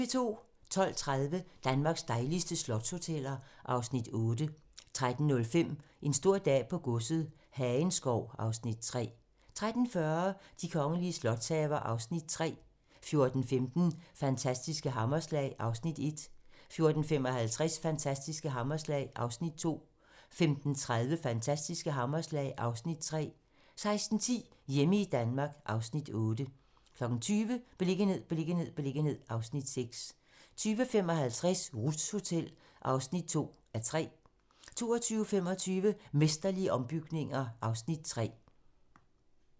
12:30: Danmarks dejligste slotshoteller (Afs. 8) 13:05: En stor dag på godset - Hagenskov (Afs. 3) 13:40: De kongelige slotshaver (Afs. 3) 14:15: Fantastiske hammerslag (Afs. 1) 14:55: Fantastiske hammerslag (Afs. 2) 15:30: Fantastiske hammerslag (Afs. 3) 16:10: Hjemme i Danmark (Afs. 8) 20:00: Beliggenhed, beliggenhed, beliggenhed (Afs. 6) 20:55: Ruths Hotel (2:3) 22:25: Mesterlige ombygninger (Afs. 3)